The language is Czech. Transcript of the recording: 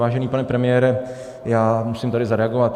Vážený pane premiére, já musím tady zareagovat.